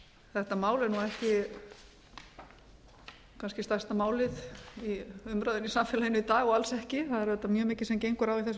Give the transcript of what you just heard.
þetta mál er kannski ekki stærsta málið í umræðunni í samfélaginu í dag og alls ekki það er auðvitað mjög mikið sem gengur á í þessu